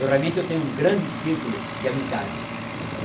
Eu, realmente, eu tenho um grande círculo de amizades.